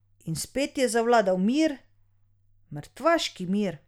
In spet je zavladal mir, mrtvaški mir.